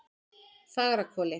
Fagrahvoli